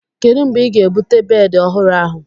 Kedu mgbe ị ga-ebute bedị ọhụrụ ahu?